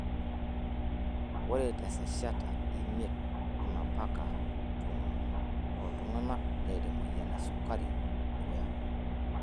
oree te eseshata emiet mapaka tomon oltunganak neeta emoyian esukari edukuya .